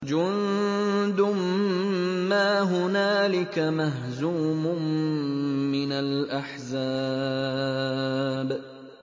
جُندٌ مَّا هُنَالِكَ مَهْزُومٌ مِّنَ الْأَحْزَابِ